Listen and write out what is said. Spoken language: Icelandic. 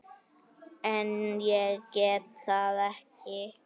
En ég get það ekki.